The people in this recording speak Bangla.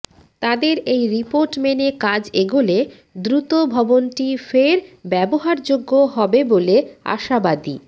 তাদের এই রিপোর্ট মেনে কাজ এগোলে দ্রুত ভবনটি ফের ব্যবহারযোগ্য হবে বলে আশাবাদী